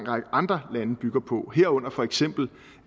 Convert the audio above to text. række andre lande bygger på herunder for eksempel